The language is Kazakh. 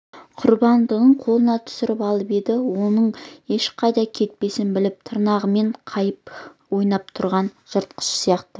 құрбандығын қолына түсіріп алып енді оның ешқайда кетпесін біліп тырнағымен қағып ойнап тұрған жыртқыш сияқты